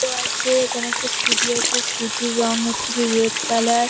Auto আছে এখানে একটা স্কুটি আছে। স্কুটি -র রং হচ্ছে গিয়ে রেড কালার ।